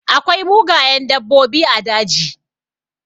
Akwai mugayen dabbobi a daji.